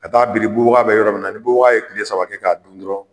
Ka taa biri bubaka bɛ yɔrɔ min na, ni bubaka ye kile saba kɛ k'a dun dɔrɔn